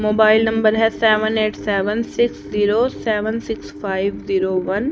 Mobile number हैं seven eight seven six zero seven six five zero one.